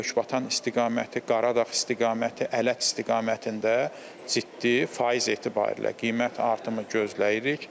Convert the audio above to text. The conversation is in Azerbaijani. Lökbatan istiqaməti, Qaradağ istiqaməti, Ələt istiqamətində ciddi faiz etibarilə qiymət artımı gözləyirik.